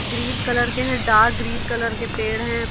Green colour के हैं dark green colour के पेड़ हैं।